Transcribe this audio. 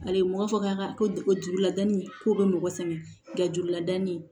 A ye mɔgɔ fɔ k'an ka ko juruladanni ko bɛ mɔgɔ sɛgɛn nka juruladanni ye